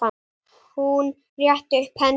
Hún rétti upp hendur.